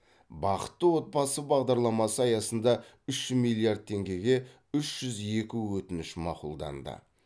бақытты отбасы бағдарламасы аясында үш миллиард теңгеге үш жүз екі өтініш мақұлданды